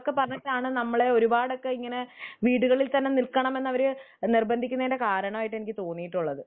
അതും കൂടിയൊക്കെ പറഞ്ഞിട്ടാണ് നമ്മളെ ഒരുപാടൊക്കെ ഇങ്ങനെ വീടുകളിൽ തന്നെ നിക്കണം എന്ന് അവര് നിര്ബന്ധിക്കുന്നതിന്റെ കാരണം ആയിട്ടു എനിക്ക് തോന്നിയിട്ടുള്ളത്